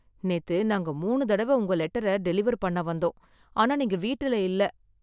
நேத்து நாங்க மூணு தடவை உங்க லெட்டர டெலிவர் பண்ண வந்தோம், ஆனா நீங்க வீட்டுல இல்ல